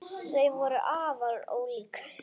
Þau voru afar ólík.